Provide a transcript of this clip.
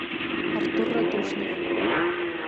артур радушнов